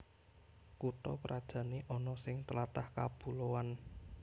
Kutha krajané ana sing tlatah kapuloan